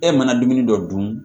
E mana dumuni dɔ dun